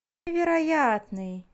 вероятный